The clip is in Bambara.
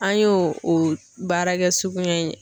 An y'o o baarakɛ suguya